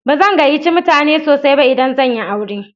Ba zan gayyace mutane sosai ba idan zan yi aure.